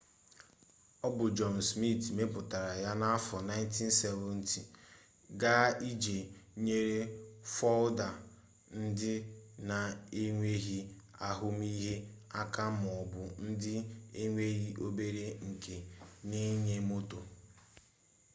ọ bụ john smith mepụtara ya n'afọ 1970 ga iji nyere folda ndị na-enweghi ahụmihe aka maọbụ ndị nwere obere nka n'ịnya moto